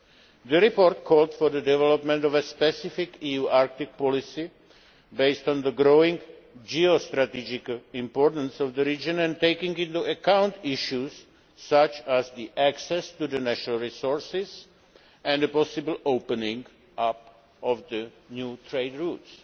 The report called for the development of a specific EU Arctic policy based on the growing geostrategic importance of the region and taking into account issues such as access to natural resources and the possible opening up of new trade routes.